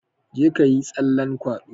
Jeka yi tsallan kwado!